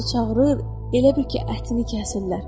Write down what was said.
Qız da çağırır, elə bil ki, ətini kəsirlər.